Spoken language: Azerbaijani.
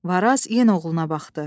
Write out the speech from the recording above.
Varaz yenə oğluna baxdı.